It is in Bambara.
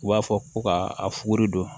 U b'a fɔ ko ka a fuguri don